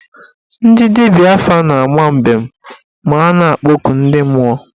Ndị dibịa afa na-ama mbem ma a na-akpọku ndị mmụọ.